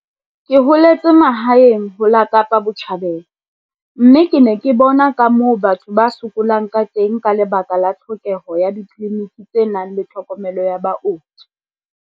Ke holetse mahaeng ho la Kapa Botjhabela mme ke ne ke bona ka moo batho ba sokolang ka teng ka lebaka la tlhokeho ya ditleliniki tse nang le tlhokomelo ya booki.